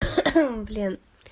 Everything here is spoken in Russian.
блин